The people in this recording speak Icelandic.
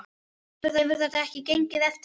Hefur þetta ekki gengið eftir?